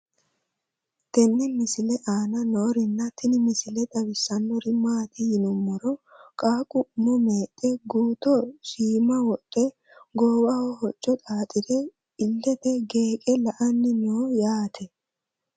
tenne misile aana noorina tini misile xawissannori maati yinummoro qaaqu umo meexxe guutto shiimma wodhe goowaho hocco xaaxxire iillette geeqe Lanni noo yaatte